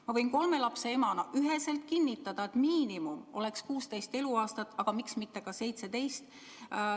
Ma võin kolme lapse emana üheselt kinnitada, et miinimum peaks olema 16 eluaastat, aga miks mitte ka 17.